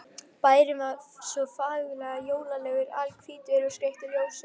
Bærinn var svo fagurlega jólalegur, alhvítur og skreyttur ljósum.